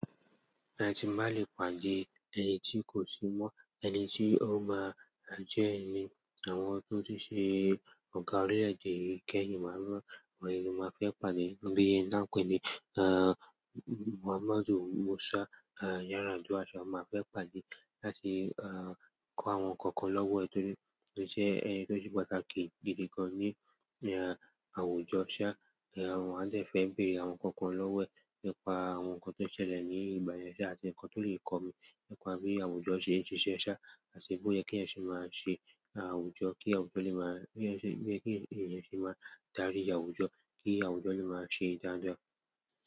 Ẹni tí má lè pàdé, ẹni tí kò sí mọ́, ẹni tí ó máa jẹ́ ẹni àwọn tó ti ṣe ọ̀gá orílè-èdè gẹ́gẹ́ ní ìgbà mìíràn, wọ̀nyí ni mo fẹ́ pàdé. Ọ̀bí yìí náà pé ni, à, Muhammadu Musa, à, ìyára àjọ àṣà, mo má fẹ́ pàdé láti, à, kọ́ àwọn ǹkan kan lọ́wọ́ ẹ̀, torí pé jẹ́ ẹni tó ti pàtàkì gidi gan ní, ẹ, àwùjọ shà. Ma de fẹ́ bèrè àwọn ǹkan kan lọ́wọ́ ẹ̀ nípa àwọn ǹkan tó ṣẹlẹ̀ ní ìgbà yẹn ṣá, àti ǹkan tó lè kọ́ mi nípa bí àwùjọ ṣe ń ṣiṣẹ́ ṣá, àti bóyá kí ẹ̀yin ṣe máa ṣe àwùjọ, kí àwùjọ lè máa, kí ẹ̀yin ṣe, kí ẹ̀yin ṣe máa darí àwùjọ, kí àwùjọ lè máa ṣe daada.